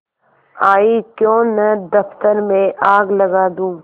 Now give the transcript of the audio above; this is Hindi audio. आयीक्यों न दफ्तर में आग लगा दूँ